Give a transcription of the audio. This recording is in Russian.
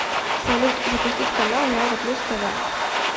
салют запустить канал европа плюс тв